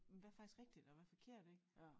Hvad faktisk rigtigt og hvad er forkert ik